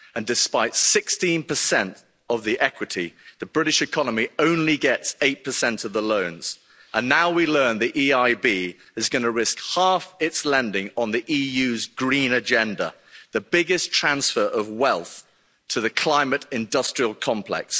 Despite 16 of the equity, the British economy only gets 8 of the loans and now we learn the EIB is going to risk half its lending on the EU's green agenda, the biggest transfer of wealth to the climate industrial complex.